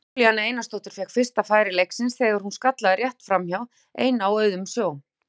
Júlíana Einarsdóttir fékk fyrsta færi leiksins þegar hún skallaði rétt framhjá ein á auðum sjó.